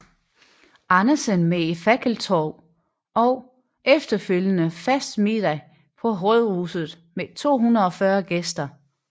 Andersen med et fakkeltog og efterfølgende festmiddag på rådhuset med 240 gæster